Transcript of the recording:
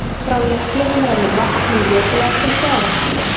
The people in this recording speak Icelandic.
Frá jöklunum rennur vatn um jökulár til sjávar.